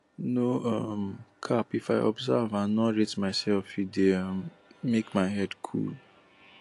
no um cap if i observe and nor rate myself e dey um make my head cool